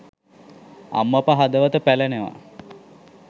අම්මපා හදවත පැලෙනවා.